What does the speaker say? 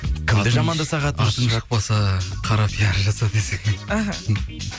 кімді жамандасақ атың шықпаса қара пиар жаса десең іхі